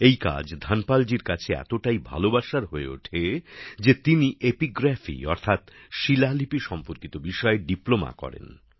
এই কাজ ধনপাল জির কাছে এতটাই ভালোবাসার হয়ে ওঠে যে তিনি এপিগ্রাফি অর্থাৎ শিলালিপি সম্পর্কিত বিষয়ে ডিপ্লোমা করেন